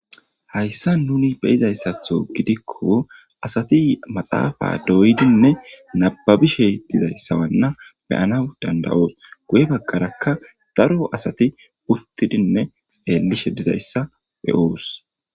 hayssa nuni beyizayssatho gidikko asati maxaafa doydinne nababishe dizayssawanna beyana dandawoos guye baggarakka daro asati uttidinne xeellishe dizayssa e'oos